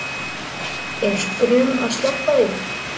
Er skrum að sleppa því